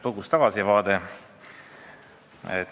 Põgus tagasivaade.